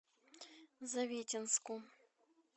завитинску